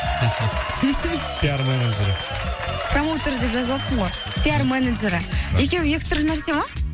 пиар менеджеры промоутеры деп жазып алыппын ғой пиар менеджеры екеуі екі түрлі нәрсе ма